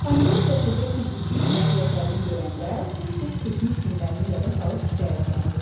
Pomidor qəsrdə keşiyçi işləyən Cəfərini görəndə tez-tez keçmiş günlərini yada salıb şikayətlənirdi.